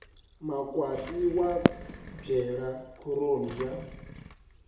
makwati wa bwelwa khoroni ya